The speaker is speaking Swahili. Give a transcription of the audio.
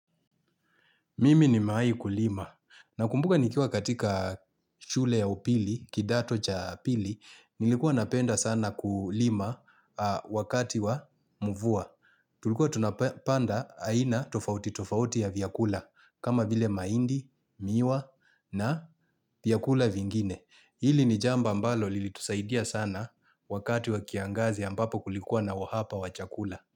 Mimi nimewai kulima, nakumbuka nikua katika shule ya upili, kidato cha pili, nilikuwa napenda sana kulima wakati wa mvua. Tulikuwa tunapanda aina tofauti tofauti ya vyakula, kama vile maindi, miwa na vyakula vingine. Hili ni jambo ambalo lilitusaidia sana wakati wa kiangazi ambapo kulikuwa na uhapa wa chakula.